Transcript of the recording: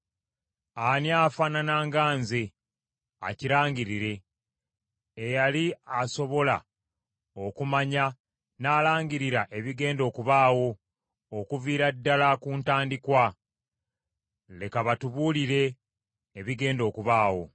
Ani afaanana nga nze, akirangirire, eyali asobola okumanya n’alangirira ebigenda okubaawo okuviira ddala ku ntandikwa? Leka batubuulire ebigenda okubaawo.